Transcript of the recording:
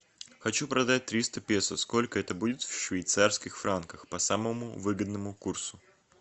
хочу продать триста песо сколько это будет в швейцарских франках по самому выгодному курсу